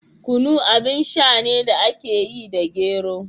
Kunu abin sha ne da aka yi da gero.